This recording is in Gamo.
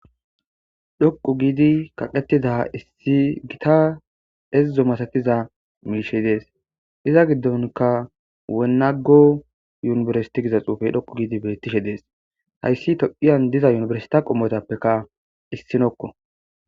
dhoqu giidi kaqettida issi gita ezzo masatiza miishe dees iza giddonka wenago yunibersiti giza xuufey dhoqu giidi bettishe dees hayssi toqiyan diza yunibersita qommotappeka issinokko